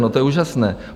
No, to je úžasné.